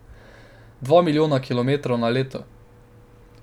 Dva milijona kilometrov na leto.